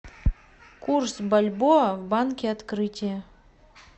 курс бальбоа в банке открытие